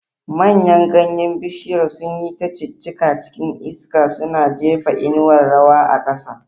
Manyan ganyen bishiyar sun yi ta ciccika cikin iska, suna jefa inuwar rawa a ƙasa.